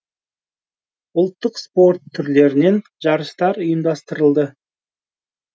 ұлттық спорт түрлерінен жарыстар ұйымдастырылды